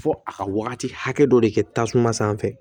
Fo a ka wagati hakɛ dɔ de kɛ tasuma sanfɛ